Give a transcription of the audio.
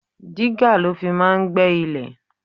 Digger lo fi máa ń gbé ilẹ̀.